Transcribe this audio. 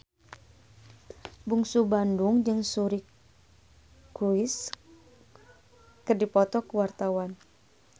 Bungsu Bandung jeung Suri Cruise keur dipoto ku wartawan